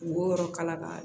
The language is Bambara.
Wo yɔrɔ kala